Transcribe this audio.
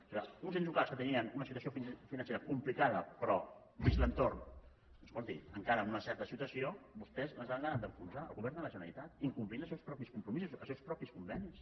o sigui uns ens locals que tenien una situació financera complicada però dins l’entorn escolti encara amb una certa situació vostès les han acabat a enfonsar el govern de la generalitat incomplint els seus propis compromisos els seus propis convenis